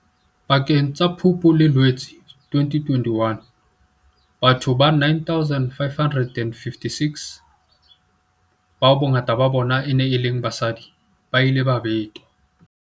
Pakeng tsa Phupu le Loetse 2021, batho ba 9 556, bao bongata ba bona e neng e le basadi, ba ile ba betwa.